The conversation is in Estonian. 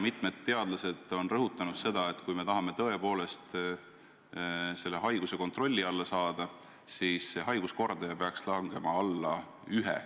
Mitmed teadlased on rõhutanud, et kui me tahame tõepoolest selle haiguse kontrolli alla saada, siis peaks haiguskordaja langema alla 1.